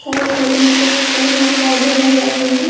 Right side में कुछ फूल और पौधे लगाए हुए हैं।